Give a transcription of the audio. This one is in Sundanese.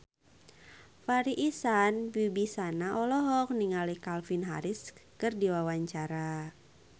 Farri Icksan Wibisana olohok ningali Calvin Harris keur diwawancara